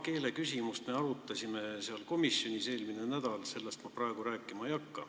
Eelmisel nädalal arutasime seal komisjonis ka paari keeleküsimust, sellest ma ei hakka praegu rääkima.